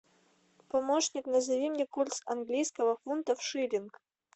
помощник назови мне курс английского фунта в шиллинг